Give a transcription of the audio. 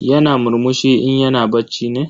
Yana murmushi in yana bacci ne?